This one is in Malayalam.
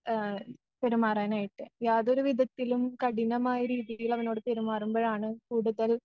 ആ പെരുമാറാനായിട്ട് യാതൊരു വിധത്തിലും കഠിനമായ രീതിയിലവനോട് പെരുമാറുമ്പോഴാണ് കൂടുതൽ